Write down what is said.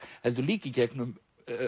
heldur líka í gegnum